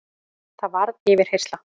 Það varð yfirheyrsla.